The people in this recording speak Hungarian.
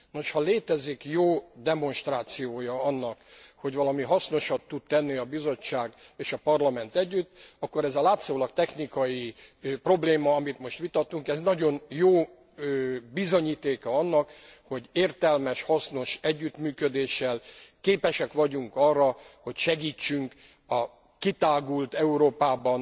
Nos, ha létezik jó demonstrációja annak, hogy valami hasznosat tud tenni a Bizottság és a Parlament együtt, akkor ez a látszólag technikai probléma, amit most vitatunk, nagyon jó bizonyítéka annak, hogy értelmes, hasznos együttműködéssel képesek vagyunk arra, hogy segítsünk a kitágult Európában